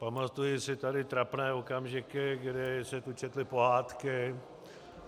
Pamatuji si tady trapné okamžiky, kdy se tu četly pohádky.